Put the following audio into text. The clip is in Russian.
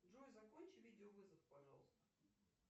джой закончи видеовызов пожалуйста